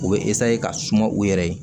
U bɛ ka suma u yɛrɛ ye